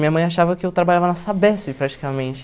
Minha mãe achava que eu trabalhava na Sabesp, praticamente.